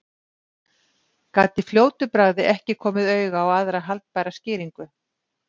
Gat í fljótu bragði ekki komið auga á aðra haldbæra skýringu.